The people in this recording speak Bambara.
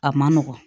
A man nɔgɔn